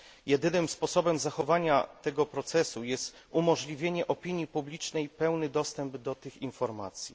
Jedynym sposobem zachowania tego procesu jest umożliwienie opinii publicznej pełnego dostępu do tych informacji.